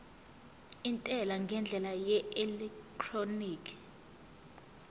intela ngendlela yeelektroniki